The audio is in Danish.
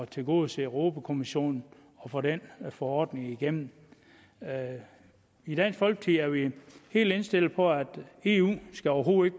tilgodese europa kommissionen og få den forordning igennem i dansk folkeparti er vi helt indstillet på at eu overhovedet